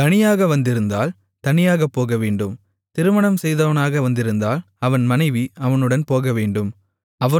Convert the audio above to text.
தனியாக வந்திருந்தால் தனியாகப்போகவேண்டும் திருமணம் செய்தவனாக வந்திருந்தால் அவன் மனைவி அவனுடன் போகவேண்டும்